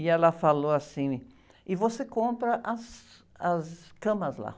E ela falou assim, e você compra as, as camas lá.